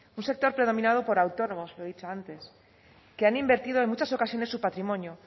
un sector predominado por autónomos lo he dicho antes que han invertido en muchas ocasiones su patrimonio